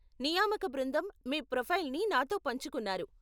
నియామక బృందం మీ ప్రొఫైల్ని నాతో పంచుకున్నారు.